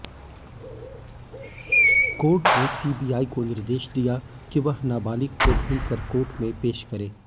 court ने CBI को निर्देश दिया कि वह नाबालिग को ढूंढ़कर कोर्ट में पेश करे